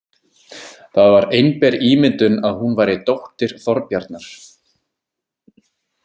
Það var einber ímyndun að hún væri dóttir Þorbjarnar.